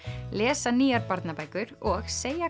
lesa nýjar barnabækur og segja